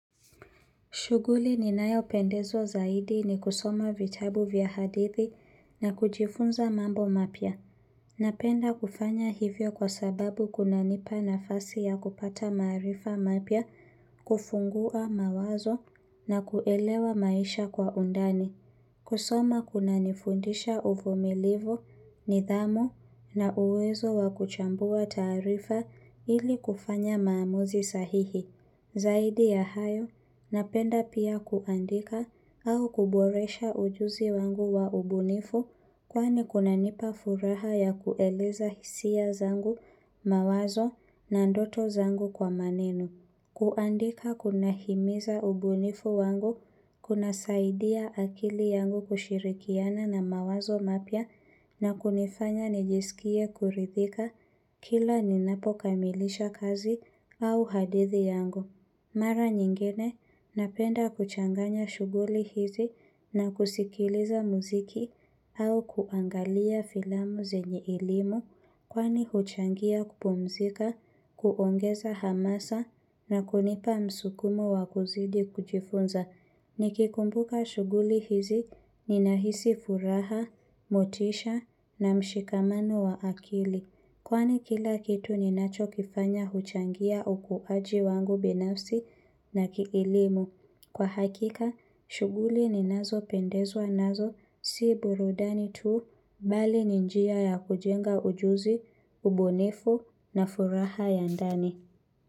Shughuli ninayopendezwa zaidi ni kusoma vitabu vya hadithi na kujifunza mambo mapya. Napenda kufanya hivyo kwa sababu kunanipa nafasi ya kupata maarifa mapya, kufungua mawazo na kuelewa maisha kwa undani. Kusoma kunanifundisha uvumilivu, nidhamu na uwezo wa kuchambua taarifa ili kufanya maamuzi sahihi. Zaidi ya hayo, napenda pia kuandika au kuboresha ujuzi wangu wa ubunifu kwani kunanipa furaha ya kueleza hisia zangu, mawazo na ndoto zangu kwa maneno. Kuandika kunahimiza ubunifu wangu, kunasaidia akili yangu kushirikiana na mawazo mapya na kunifanya nijisikie kuridhika kila ninapokamilisha kazi au hadithi yangu. Mara nyingine napenda kuchanganya shughuli hizi na kusikiliza muziki au kuangalia filamu zenye elimu kwani huchangia kupumzika, kuongeza hamasa na kunipa msukumo wa kuzidi kujifunza. Nikikumbuka shughuli hizi ninahisi furaha, motisha na mshikamano wa akili. Kwani kila kitu ninachokifanya huchangia ukuaji wangu binafsi na kielimu. Kwa hakika, shughuli ninazopendezwa nazo si burudani tu bali ni njia ya kujenga ujuzi, ubunifu na furaha ya ndani.